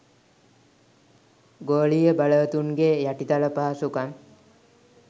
ගෝලීය බලවතුන්ගේ යටිතල පහසුකම්